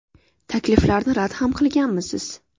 – Takliflarni rad ham qilganmisiz?